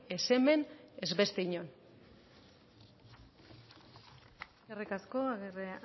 ez hemen ez beste inon eskerrik asko agirre